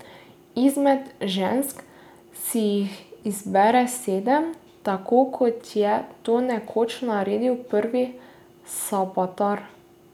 Izmed žensk si jih izbere sedem, tako kot je to nekoč naredil Prvi, Sabataj.